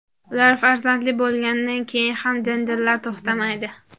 Ular farzandli bo‘lganidan keyin ham janjallar to‘xtamaydi.